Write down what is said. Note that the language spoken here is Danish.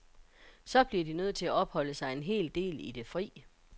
Så bliver de nødt til at opholde sig en hel del i det fri.